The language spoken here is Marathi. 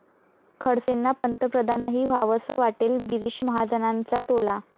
खडसेंना पंतप्रधानही व्हावंसं वाटेल, गिरीश महाजनांचा टोला